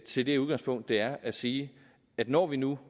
til det udgangspunkt det er at sige at når vi nu